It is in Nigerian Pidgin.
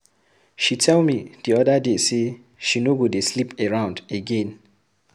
She tell me the other day say she no go dey sleep around again.